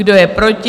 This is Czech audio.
Kdo je proti?